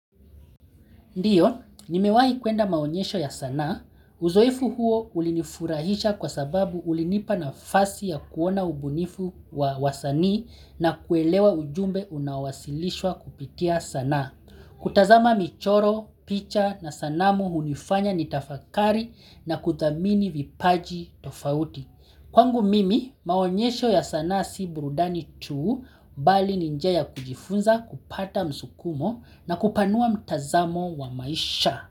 Ndiyo, nimewahi kuenda maonyesho ya sanaa. Uzoefu huo ulinifurahisha kwa sababu ulinipa nafasi ya kuona ubunifu wa wasanii na kuelewa ujumbe unawasilishwa kupitia sanaa. Kutazama michoro, picha na sanamu hunifanya nitafakari na kuthamini vipaji tofauti. Kwangu mimi maonyesho ya sanaa si burudani tu bali ni njia ya kujifunza kupata msukumo na kupanua mtazamo wa maisha.